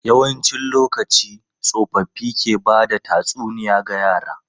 Yawancin lokaci, tsofaffi ke ba da tatsuniya ga yara.